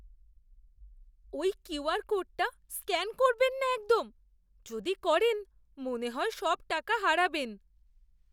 ওই কিউআর কোডটা স্ক্যান করবেন না একদম। যদি করেন, মনে হয় সব টাকা হারাবেন।